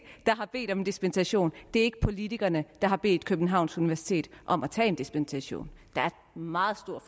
der har bedt om en dispensation det er ikke politikerne der har bedt københavns universitet om at få en dispensation der er meget stor